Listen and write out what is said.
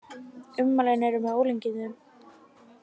Ummælin eru með ólíkindum